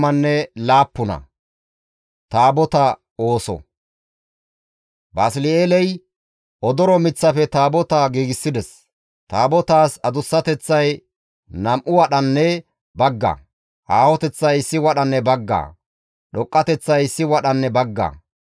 Basli7eeley odoro miththaafe Taabota giigsides. Taabotaas adussateththay nam7u wadhanne bagga; aahoteththay issi wadhanne baggaa; dhoqqateththay issi wadhanne baggaa.